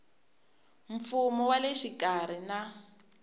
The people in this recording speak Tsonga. mfumo wa le xikarhi na